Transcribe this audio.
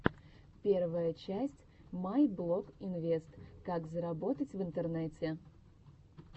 первая часть майблогинвест как заработать в интернете